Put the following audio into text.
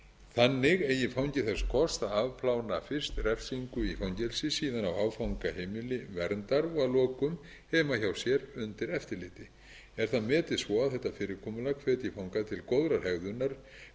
þannig eigi fangi þess kost að afplána fyrst refsingu í fangelsi síðan á áfangaheimili verndar og að lokum heima hjá sér undir eftirliti er það metið svo að þetta fyrirkomulag hvetji fanga til góðrar hegðunar meðan afplánun